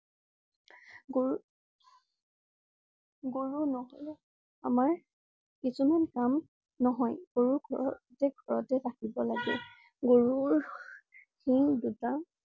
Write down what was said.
গৰু ~গৰু নহলে আমাৰ কিছুমান কাম নহয়। গৰু ঘৰ~ঘৰতে ৰাখিব লাগে। গৰুৰ সিং দুটা